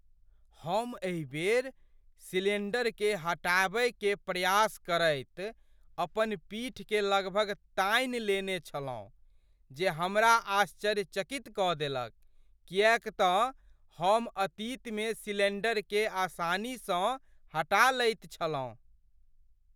हम एहि बेर सिलिण्डरकेँ हटाबय के प्रयास करैत अपन पीठ के लगभग तानि लेने छलहुँ जे हमरा आश्चर्यचकित कऽ देलक किएक तँ हम अतीतमे सिलिण्डरकेँ आसानीसँ हटा लैत छलहुँ।